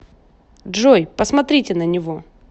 джой посмотрите на него